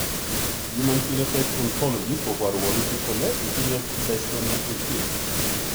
human Phenotype Ontology koporu wolutik kole itinye Dystonia 18.